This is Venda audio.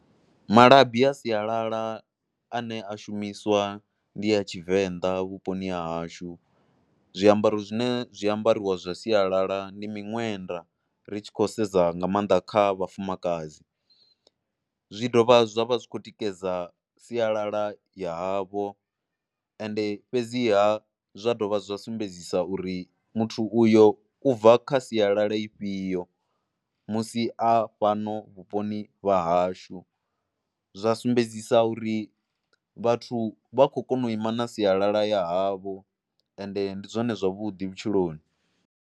Malabi a sialala ane a shumiswa ndi ya Tshivenḓa vhuponi ha hashu. Zwiambaro zwine, zwi a ambariwa zwa sialala ndi miṅwenda ri tshi khou sedza nga maanḓa kha vhafumakadzi, zwi dovha zwa vha zwi khou tikedza sialala ya havho ende fhedziha zwa dovha zwa sumbedzisa uri muthu uyo u bva kha sialala ifhio musi a fhano vhuponi vha hashu. Zwa sumbedzisa uri vhathu vha khoy kona u ima na sialala ya havho ende ndi zwone zwavhuḓi vhutshiloni.